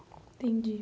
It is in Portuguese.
Entendi.